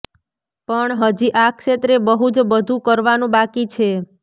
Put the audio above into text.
પણ હજી આ ક્ષેત્રે બહું જ બધું કરવાનું બાકી છે